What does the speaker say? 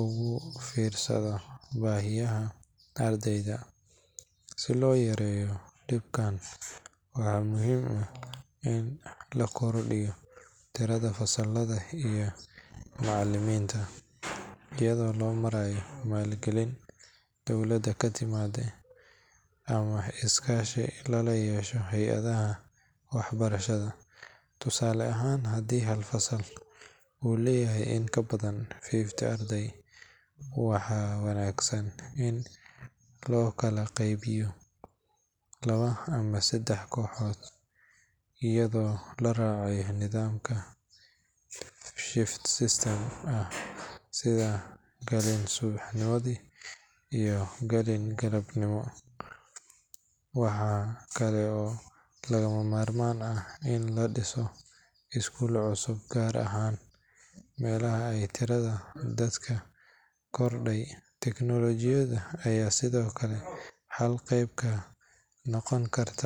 ugu fiirsado baahiyaha ardayda. Si loo yareeyo dhibkaan, waxaa muhiim ah in la kordhiyo tirada fasallada iyo macallimiinta, iyadoo loo marayo maalgelin dowladda ka timaadda ama iskaashi lala yeesho hay’adaha waxbarashada. Tusaale ahaan, haddii hal fasal uu leeyahay in ka badan fifty arday, waxaa wanaagsan in loo kala qeybiyo laba ama saddex kooxood iyadoo la raacayo nidaam shift system ah, sida galin subaxnimo iyo galin galabnimo. Waxaa kale oo lagama maarmaan ah in la dhiso iskuulo cusub, gaar ahaan meelaha ay tirada dadka korodhay. Tiknoolojiyadda ayaa sidoo kale xalka qayb ka noqon karta.